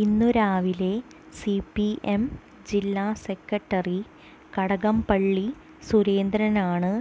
ഇന്നു രാവിലെ C P M ജില്ലാ സെക്രട്ടറി കടകംപള്ളി സുരേന്ദ്രനാണ്